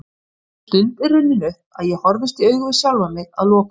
Sú stund er runnin upp að ég horfist í augu við sjálfan mig að lokum.